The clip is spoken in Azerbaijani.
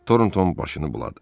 Tornton başını buladı.